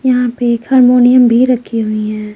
यहाँ पे एक हारमोनियम भी रखी हुई है।